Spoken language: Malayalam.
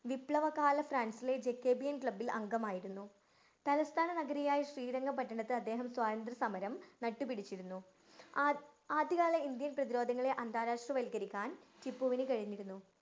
വിപ്ലവകാല ജക്കാബിയന്‍ ക്ലബ്ബില്‍ അംഗമായിരുന്നു. തലസ്ഥാനനഗരിയായ ശ്രീരംഗപട്ടണത്ത് അദ്ദേഹം സ്വാതന്ത്ര്യസമരം നട്ടു പിടിച്ചിരുന്നു. ആദ് ആദ്യകാല ഇന്‍ഡ്യന്‍ പ്രതിരോധങ്ങളെ അന്താരാഷ്ട്രവല്‍ക്കരിക്കാന്‍ ടിപ്പുവിന് കഴിഞ്ഞിരുന്നു.